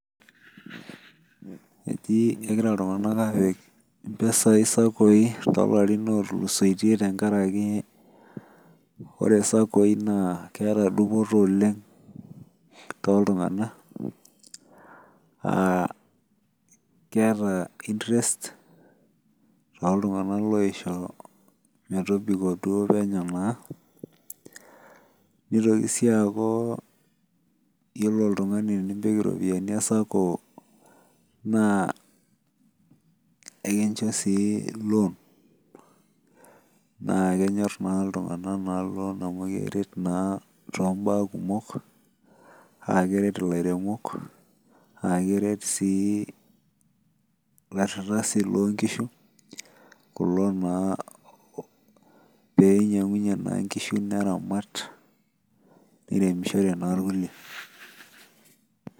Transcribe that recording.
Etii egira iltungana aapik mpisai saccoi too kulo larin otulusotie tengaraki ore saccoi naa keata dupoto oleng tee iltungana, aa keata intrest too iltunganak loisho metobiko naa neitoki sii aaku iyolo iltungana enipik iropiyiani esacco naa ekincho sii eloo, naa kenyorr naa iltungana ina iloon amu keret naa too imbaa kumok, aa keret ilairemok ,aa keret sii laishetak sii loo inkishu, kulo naa peinyang'unye naa inkishu neramat, neremishore naa ilkule.